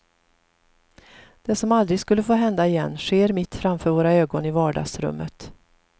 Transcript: Det som aldrig skulle få hända igen sker mitt framför våra ögon i vardagsrummet.